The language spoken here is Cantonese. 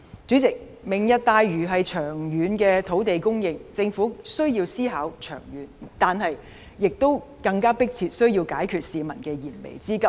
主席，"明日大嶼"是長遠的土地供應，政府需要思考長遠，但更需要迫切解決市民的燃眉之急。